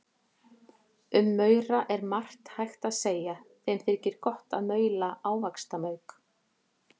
Um maura er margt hægt að segja, þeim þykir gott að maula ávaxtamauk.